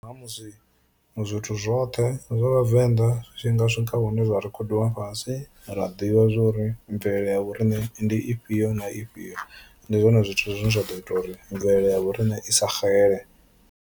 Nga ha musi zwithu zwoṱhe zwa vhavenḓa zwi tshi nga swika hune zwa rekhodiwa fhasi ra ḓivha zwori mvelele ya vhoriṋe ndi ifhio na ifhio, ndi zwone zwithu zwine zwa ḓo ita uri mvelele ya vho riṋe i sa xele.